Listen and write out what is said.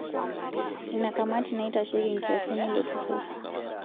Ina kamati naitasheki nkiasin eilo turrur